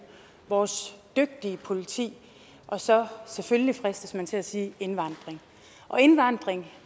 vores dygtige politi og så selvfølgelig fristes man til at sige indvandring og indvandring